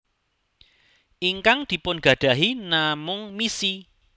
Ingkang dipun gadahi namung misi